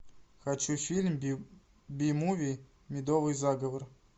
хочу фильм би муви медовый заговор